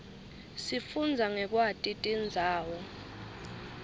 sifundza ngekwati tindzawo